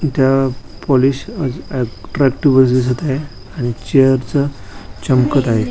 इथ पोलीस अ अ दिसत आहे आणि चेअर च चमकत आहे.